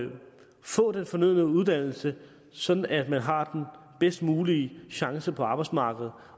få den fornødne uddannelse sådan at man har den bedst mulige chance på arbejdsmarkedet